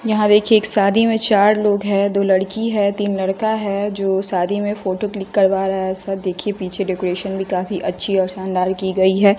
यहां देखिए एक शादी में चार लोग है दो लड़की है तीन लड़का है जो शादी में फोटो क्लिक करवा रहा है सब देखिए पीछे डेकोरेशन भी काफी अच्छी और शानदार की गई है।